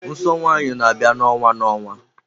Nsọ nwanyị n'abia na-onwa na-onwa.